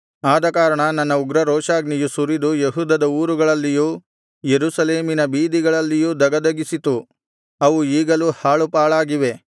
ಆದಕಾರಣ ನನ್ನ ಉಗ್ರರೋಷಾಗ್ನಿಯು ಸುರಿದು ಯೆಹೂದದ ಊರುಗಳಲ್ಲಿಯೂ ಯೆರೂಸಲೇಮಿನ ಬೀದಿಗಳಲ್ಲಿಯೂ ಧಗಧಗಿಸಿತು ಅವು ಈಗಲೂ ಹಾಳು ಪಾಳಾಗಿವೆ